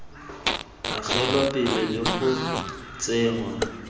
agelwa pele le go tsenngwa